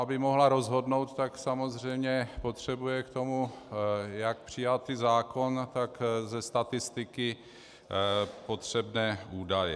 Aby mohla rozhodnout, tak samozřejmě potřebuje k tomu jak přijatý zákon, tak ze statistiky potřebné údaje.